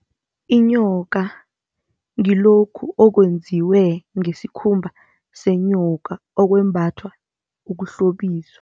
Inyoka ngilokhu okwenziwe ngesikhumba senyoka, okwembathwa ukuhlobisa.